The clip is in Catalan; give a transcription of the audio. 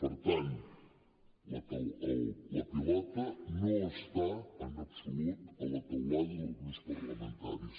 per tant la pilota no està en absolut a la teulada dels grups parlamentaris